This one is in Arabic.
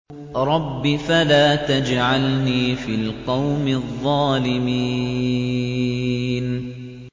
رَبِّ فَلَا تَجْعَلْنِي فِي الْقَوْمِ الظَّالِمِينَ